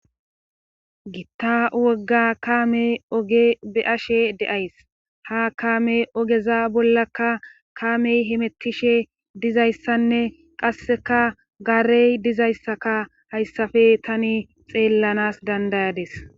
gitta wogga kaame oge be7ashe de7ays ha kaame ogeza bollakka kaamey himettishe dizayssanne qasseka gaarey dizayssaka hayssafe tani xeellanas dandayades